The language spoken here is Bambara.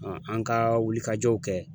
an ka wulikajɔw kɛ.